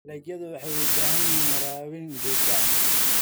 Dalagyadu waxay u baahan yihiin waraabin joogto ah.